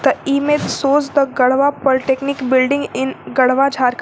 The image shows the garhwa polytechnic building in garhwa jhar .